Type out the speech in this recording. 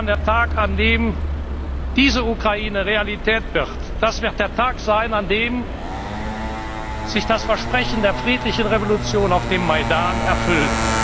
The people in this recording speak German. Zukunft haben. Der Tag, an dem diese Ukraine Realität wird, wird der Tag sein, an dem sich das Versprechen der friedlichen Revolution auf dem